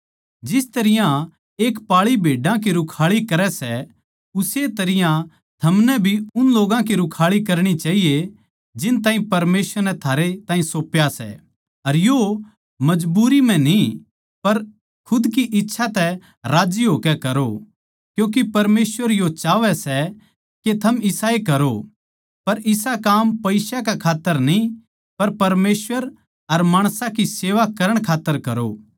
जिस तरियां एक पाळी भेड्या की रूखाळी करै सै उस्से तरियां थमनै भी उन लोग्गां की रूखाळी करणी चाहिए जिन ताहीं परमेसवर नै थारे ताहीं सौप्या सै अर यो मजबूरी म्ह न्ही पर खुद की इच्छा तै राज्जी होकै करो क्यूँके परमेसवर यो चाहवै सै के थम इसाए करो पर इसा काम पईसा कै खात्तर न्ही पर परमेसवर अर माणसां की सेवा करण खात्तर करो